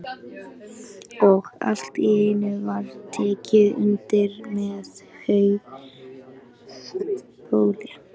Og allt í einu var tekið undir með háu bauli.